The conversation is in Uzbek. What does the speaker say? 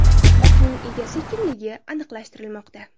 Otning egasi kimligi aniqlashtirilmoqda.